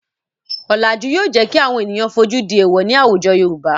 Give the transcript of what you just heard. Ọ̀làjú yóò jẹ́ kí àwọn ènìyàn fojú di èwọ̀ ní àwùjọ Yorùbá.